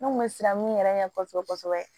Ne kun bɛ siran mun yɛrɛ ɲɛ kosɛbɛ kosɛbɛ